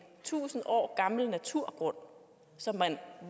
tusind år gammel naturgrund som man